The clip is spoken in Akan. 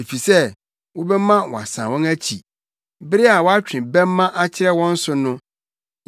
efisɛ wobɛma wɔasan wɔn akyi bere a woatwe bɛmma akyerɛ wɔn so no.